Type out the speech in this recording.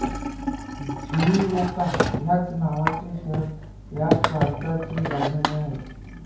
Shizuoka ह्याच नावाचे शहर ह्या प्रांताची राजधानी आहे